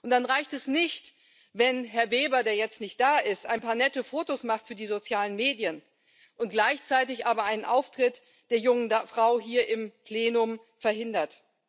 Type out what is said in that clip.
Dann reicht es nicht, wenn Herr Weber, der jetzt nicht da ist, ein paar nette Fotos macht für die sozialen Medien und gleichzeitig aber einen Auftritt der jungen Frau hier im Plenum verhindert.